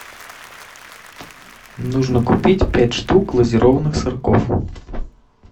нужно купить пять штук глазированных сырков